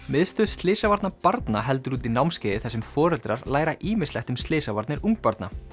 miðstöð slysavarna barna heldur úti námskeiði þar sem foreldrar læra ýmislegt um slysavarnir ungbarna